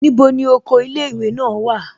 Níbo ni oko ilé ìwé náà wà?